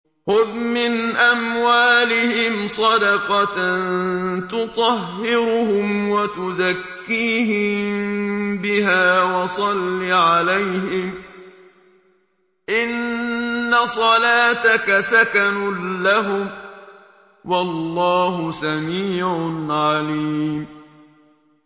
خُذْ مِنْ أَمْوَالِهِمْ صَدَقَةً تُطَهِّرُهُمْ وَتُزَكِّيهِم بِهَا وَصَلِّ عَلَيْهِمْ ۖ إِنَّ صَلَاتَكَ سَكَنٌ لَّهُمْ ۗ وَاللَّهُ سَمِيعٌ عَلِيمٌ